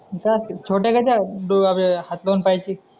हे काय असते छोट्या कशा दो अं हात दोन पायांची